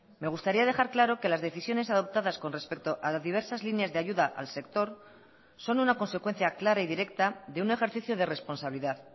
me gustaría dejar claro que las decisiones adoptadas con respecto a las diversas líneas de ayuda al sector son una consecuencia clara y directa de un ejercicio de responsabilidad